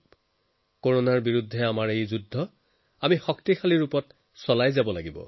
আমি কৰোণাৰ বিৰুদ্ধে নিজৰ যুঁজ শক্তিশালীভাৱে অব্যাহত ৰাখিব লাগিব